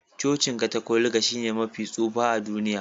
Cocin Katolika shine mafi tsufa a duniya